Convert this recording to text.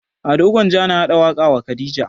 Ado gwanja na haɗa waƙa wa khadija